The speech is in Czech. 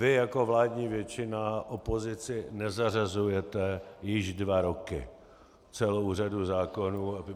Vy jako vládní většina opozici nezařazujete již dva roky celou řadu zákonů.